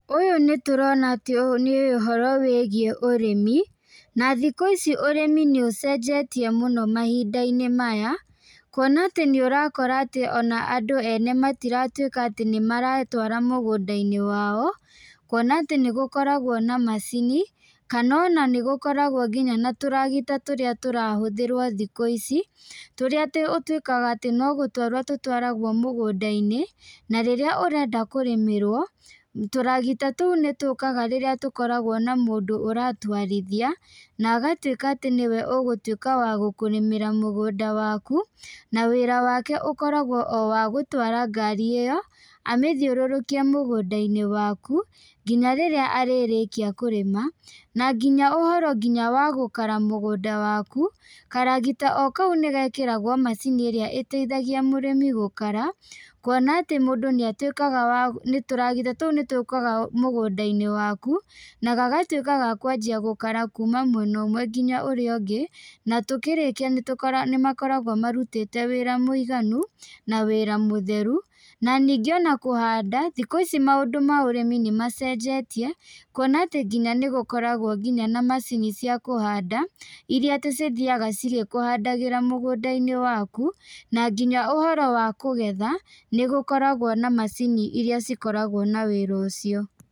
Ũyũ nĩ tũrona atĩ nĩ ũhoro wĩgiĩ ũrĩmi, na thikũ ici ũrĩmi nĩ ũcenjetie mũno mahinda-inĩ maya, kuona atĩ nĩ ũrakora atĩ andũ ene matiratwĩka atĩ nĩmaretwara mũgũnda-inĩ wao, kuona atĩ nĩgũkoragwo na macini, kana ona nĩgũkoragwo nginya na tũragita tũria tũrahũthĩrwo thikũ ici, tũrĩa atĩ ũtwĩkaga atĩ no gũtwarwo tũtwaragwo mũgũnda-inĩ ,na rĩrĩa ũrenda kũrĩmĩrwo, tũragita tũu nĩtũkaga rĩrĩa tũkoragwo na mũndũ ũratwarithia, na agatwĩka atĩ nĩwe ũgũtwĩka wa gũkũrĩmĩra mũgũnda waku, na wĩra wake ũkoragwo o wa gũtwara ngari ĩyo, amĩthiũrũrũkie mũgũnda-inĩ waku, nginya rĩrĩa arĩrĩkia kũrĩma, na nginya ũhoro wa gũkara mũgũnda waku , karagita o kau nĩgekĩragwo macini ĩrĩa ĩteithagia mũrimi gũkara, kuona atĩ mũndũ nĩatwĩkaga wa tũragita tũu nĩtũkaga mũgũnda-inĩ waku, na gagatwĩka gakwanjia gũkara kuma mwena ũmwe nginya ũrĩa ũngĩ , na tũkĩrĩkia nĩtũ nĩmakoragwo marutĩte wĩra mũiganu na wĩra mũtheru, na ningĩ ona kũhanda thikũ ici maũndũ ma ũrĩmi nĩmacenjetie, kuona atĩ nginya nĩgũkoragwo nginya na macini cia kũhanda, iria atĩ cithiaga cigĩkũhandagĩra mũgũnda-inĩ waku , na nginya ũhoro wa kũgetha, nĩgũkoragwo na macini iria cikoragwo na wĩra ũcio.